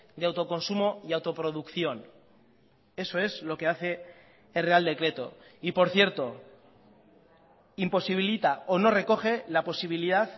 de autoconsumo y autoproducción eso es lo que hace el real decreto y por cierto imposibilita o no recoge la posibilidad